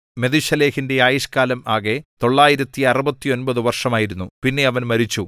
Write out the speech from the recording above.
മെഥൂശലഹിന്റെ ആയുഷ്കാലം ആകെ 969 വർഷമായിരുന്നു പിന്നെ അവൻ മരിച്ചു